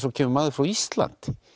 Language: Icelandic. svo kemur maður frá Íslandi